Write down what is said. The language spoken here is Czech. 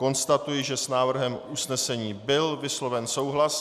Konstatuji, že s návrhem usnesení byl vysloven souhlas.